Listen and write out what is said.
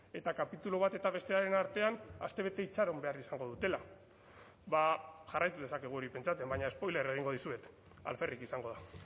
eta kapitulu bat eta bestearen artean astebete itxaron behar izango dutela ba jarraitu dezakegu hori pentsatzen baina spoilerra egingo dizuet alferrik izango da